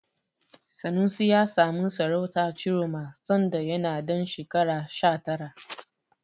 Sanusi ya samu sarautar Ciroma sanda yana ɗan shekara sha tara.